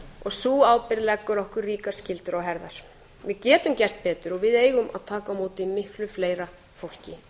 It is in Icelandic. og sú ábyrgð leggur okkur ríkar skyldur á herðar við getum gert betur og við eigum að taka á móti miklu fleira fólki